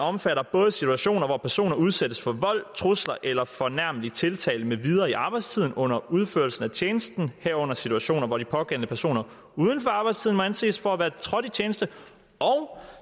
omfatter både situationer hvor personer udsættes for vold trusler eller fornærmelig tiltale med videre i arbejdstiden under udførelsen af tjenesten herunder situationer hvor de pågældende personer uden for arbejdstiden må anses for at være trådt i tjeneste og